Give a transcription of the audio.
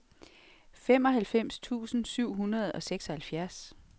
femoghalvfems tusind syv hundrede og seksoghalvfjerds